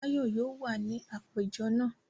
Báyọ̀ yóò wà ní àpéjọ náà.